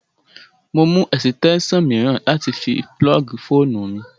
Mo mú ẹ̀sìtẹ́ṣàn mìíràn wá láti fi púlọ́ọ̀gì fóònù mi